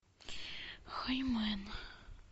хаймен